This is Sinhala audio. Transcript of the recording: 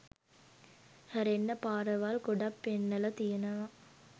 හැරෙන්න පාරවල් ගොඩක් පෙන්නල තියෙනව.